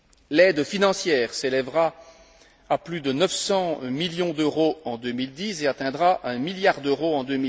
L'aide financière s'élèvera à plus de 900 millions d'euros en 2010 et atteindra 1 milliard d'euros en